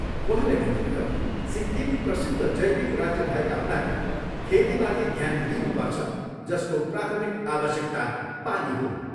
उहाँले भन्नुभयो, सिक्किम प्रसिद्ध जैविक राज्य भएका हुनाले खेतीमाथि ध्यान दिइनुपर्छ जसको प्राथमिक आवश्यकता पानी हो।